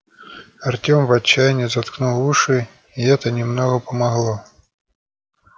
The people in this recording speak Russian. артём в отчаянии заткнул уши и это немного помогло